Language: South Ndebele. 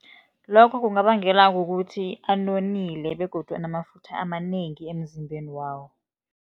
Lokho kungabangelwa kukuthi anonile begodu anamafutha amanengi emzimbeni wawo.